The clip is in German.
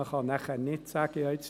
Man kann nachher nicht sagen :